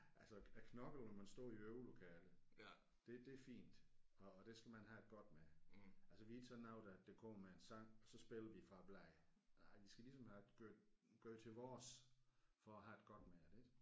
Altså at at knokle når man står i øvelokalet det det er fint og det skal man have det godt med altså vi er ikke sådan nogle der der kommer med en sang og så spiller vi fra blæren nej vi skal ligesom have gøre gøre det til vores for at have det godt med det ik